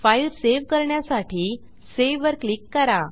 file save करण्यासाठी save वर click करा